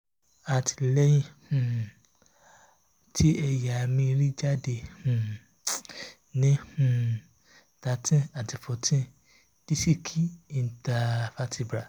ati lẹhin um ti ẹya mri ri jade; um ni um thirteen ati fourteen disiki intervertebral